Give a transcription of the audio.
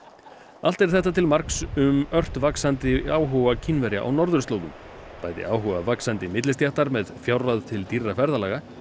allt er þetta til marks um ört vaxandi áhuga Kínverja á norðurslóðum bæði áhuga vaxandi millistéttar með fjárráð til dýrra ferðalaga